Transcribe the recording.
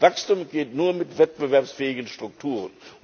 Wachstum geht nur mit wettbewerbsfähigen Strukturen.